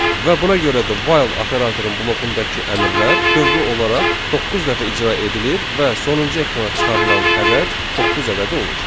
Və buna görə də while operatorun blokundakı əmrlər dövrü olaraq doqquz dəfə icra edilir və sonuncu ekrana çıxarılan ədəd doqquz ədədi olur.